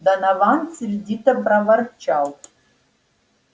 донован сердито проворчал